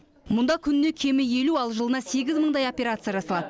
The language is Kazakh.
мұнда күніне кемі елу ал жылына сегіз мыңдай операция жасалады